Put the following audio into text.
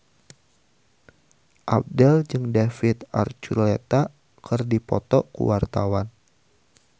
Abdel jeung David Archuletta keur dipoto ku wartawan